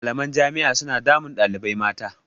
Malaman jami'a suna damun ɗalibai mata.